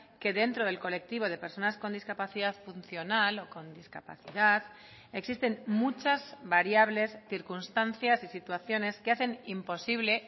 que dentro del colectivo de personas con discapacidad funcional o con discapacidad existen muchas variables circunstancias y situaciones que hacen imposible